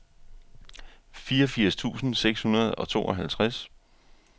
fireogfirs tusind seks hundrede og tooghalvtreds